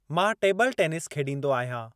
मां टेबिल-टेनिस खेॾींदो आहियां।